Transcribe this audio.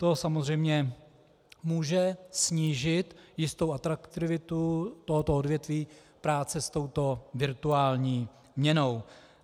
To samozřejmě může snížit jistou atraktivitu tohoto odvětví práce s touto virtuální měnou.